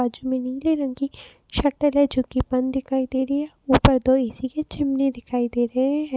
बाजु में नीले रंग की शटर है जोकि बंद दिखाई दे रही है। ऊपर दो ए.सी. की चिमनी दिखाई दे रहे हैं।